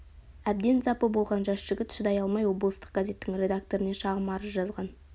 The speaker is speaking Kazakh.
әбден запы болған жас жігіт шыдай алмай облыстық газеттің редакторына шағым арыз жазған